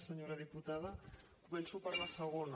senyora diputada començo per la segona